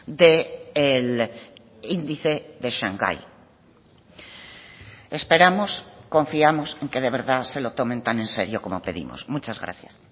de el índice de shanghái esperamos confiamos en que de verdad se lo tomen tan en serio como pedimos muchas gracias